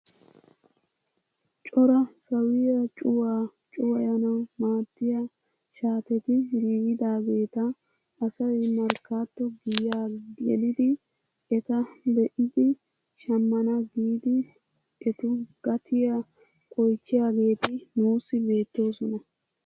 Cora sawiyaa cuwaa cuwayanawu maaddiyaa shaatetti giigidageta asay markkaato giyaa geliidi eta be'idi shammana giidi etu gatiyaa oychchiyaageti nuusi beettoosona.